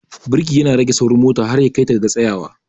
Birki ya na rage saurin mota har ya kai ta ga tsayawa.